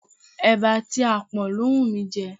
Eba àti apon ló wù mí jẹ.